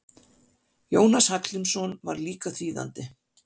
Jónas Hallgrímsson var líka þýðandi.